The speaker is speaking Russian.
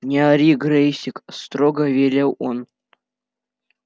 не ори грэйсик строго велел он